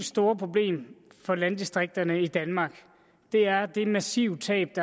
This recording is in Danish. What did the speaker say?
store problem for landdistrikterne i danmark er det massive tab